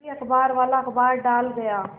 तभी अखबारवाला अखबार डाल गया